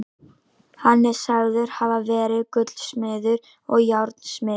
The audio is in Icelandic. Hann er sagður hafa verið gullsmiður og járnsmiður.